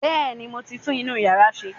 Bẹ́ẹ̀ni, mo ti tún inú yàrá ṣe